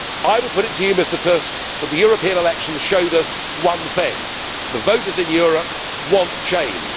I would put it to you, Mr Tusk, that the European elections showed us one thing the voters in Europe want change.